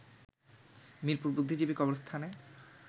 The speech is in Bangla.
মিরপুর বুদ্ধিজীবী কবরস্থানে